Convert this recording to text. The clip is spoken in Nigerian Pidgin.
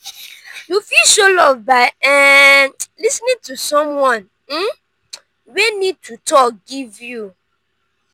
you fit show love by um lis ten ing to someone um wey need to talk give you.